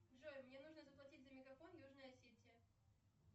джой мне нужно заплатить за мегафон южная осетия